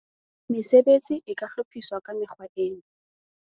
Mesebetsi e ka hlophiswa ka mekgwa ena.